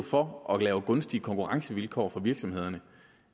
for at lave gunstige konkurrencevilkår for virksomhederne